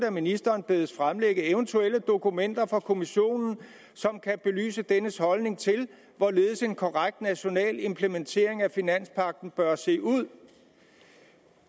at ministeren bedes fremlægge eventuelle dokumenter fra kommissionen som kan belyse dennes holdning til hvorledes en korrekt national implementering af finanspagten bør se ud